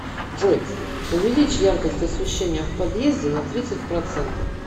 джой увеличь яркость освещения в подъезде на тридцать процентов